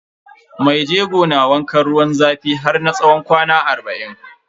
Maijego na wankan ruwan zafi har na tsawon kwana arba'in.